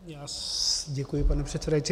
Děkuji, pane předsedající.